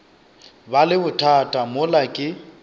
ba le bothata mola ke